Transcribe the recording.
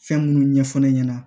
Fɛn minnu ɲɛfɔ ne ɲɛna